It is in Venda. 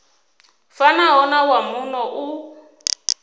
fanaho na wa muno u